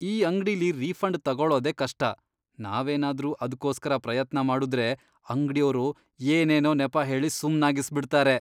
ಈ ಅಂಗ್ಡಿಲಿ ರೀಫಂಡ್ ತಗೊಳೋದೇ ಕಷ್ಟ, ನಾವೇನಾದ್ರೂ ಅದ್ಕೋಸ್ಕರ ಪ್ರಯತ್ನ ಮಾಡುದ್ರೆ ಅಂಗ್ಡಿಯೋರು ಏನೇನೋ ನೆಪ ಹೇಳಿ ಸುಮ್ನಾಗಿಸ್ಬಿಡ್ತಾರೆ.